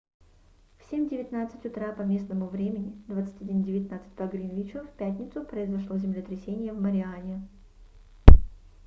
в 07:19 утра по местному времени 21:19 по гринвичу в пятницу произошло землетрясение в мариане